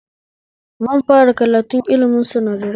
Zan fara karatun ilimin sinadarai